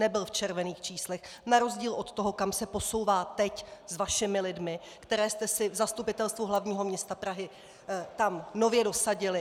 Nebyl v červených číslech na rozdíl od toho, kam se posouvá teď s vašimi lidmi, které jste si v Zastupitelstvu hlavního města Prahy tam nově dosadili.